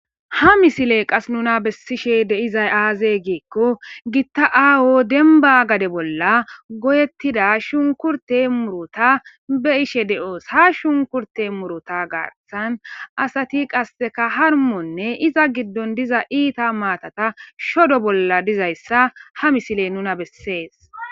ha misile qas nuna bessishe deizay aaze giikko gitta aawo denba gade bolla goyettida shunkurte murota be ishe de7oos ha shunkurte murota gartsan asati qasseka harmonne iza giddon diza iita maatata shodo bolla dizayssa ha misile nuna bessees